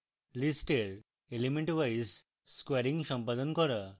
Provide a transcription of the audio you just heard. list elementwise squaring সম্পাদন করা